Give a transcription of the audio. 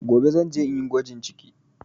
Gobe zan je inyi gwajin ciki